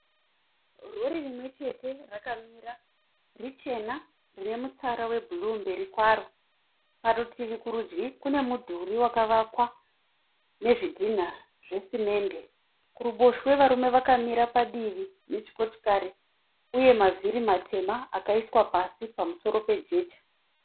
Rori rimwechete rakamira, richena rinemutsara webhuru mberi kwaro. Parutivi kurudyi kune mudhuri wakavakwa nezvidhina zvesimende, kuruboshwe varume vakamira padivi nechikochikari uyema mavhiri matema akaiswa pasi pamusoro pejecha.